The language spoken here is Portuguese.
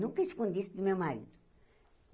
Nunca escondi isso do meu marido.